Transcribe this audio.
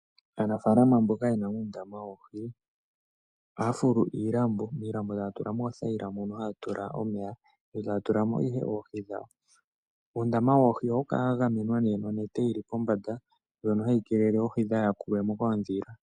Aanafalama mboka yena uundama woohi ohaya fulu iilambo. Iilambo taya tula mo oothayila mono haya tula omeya etaya tula mo ihe oohi dhawo. Uundama woohi ohawu kala wagamenwa nee nonete yili pombanda ndjono hayi keelele oohi dhaayakulwe mo koondhila.